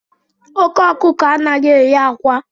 Oke okuko anaghị eyi akwa